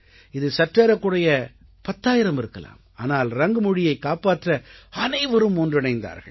இது சற்றேறக்குறைய பத்தாயிரம் இருக்கலாம் ஆனால் ரங் மொழியைக் காப்பாற்ற அனைவரும் ஒன்றிணைந்தார்கள்